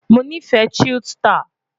Mo ni ife chilled star